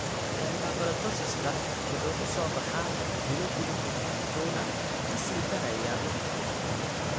Hyperkeratosiska (maqaarka oo sii weynaada) wuxuu ku soo baxaa bilo gudahood wuxuuna ka sii darayaa waqti ka dib.